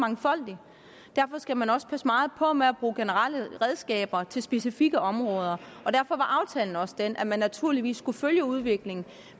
mangfoldig derfor skal man også passe meget på med at bruge generelle redskaber til specifikke områder og derfor var aftalen også den at man naturligvis skulle følge udviklingen